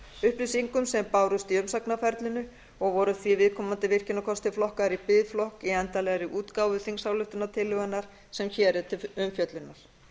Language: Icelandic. upplýsingum sem bárust í umsagnarferlinu og voru því viðkomandi virkjunarkostir flokkaðir í biðflokk í endanlegri útgáfu þingsályktunartillögunnar sem hér er til umfjöllunar